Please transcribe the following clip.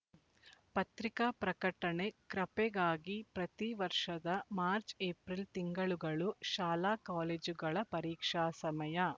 ಪತ್ರಿಕಾ ಪ್ರಕಟಣೆ ಕ್ರಪೆಗಾಗಿ ಪ್ರತೀ ವರ್ಷದ ಮಾರ್ಚಏಪ್ರಿಲ್ ತಿಂಗಳುಗಳು ಶಾಲಾಕಾಲೇಜುಗಳ ಪರೀಕ್ಷಾ ಸಮಯ